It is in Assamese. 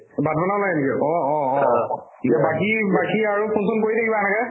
ভাত বনাবাই নেকি অ অ অ বাকি আৰু phone চোন কৰি থাকিবা আগে